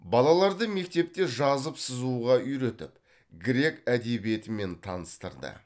балаларды мектепте жазып сызуға үйретіп грек әдебиетімен таныстырды